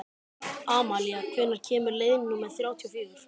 Amalía, hvenær kemur leið númer þrjátíu og fjögur?